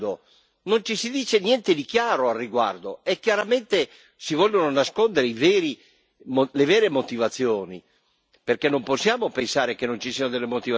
Non si dice niente di chiaro al riguardo e chiaramente si vogliono nascondere le vere motivazioni, perché non possiamo pensare che non ci siano delle motivazioni.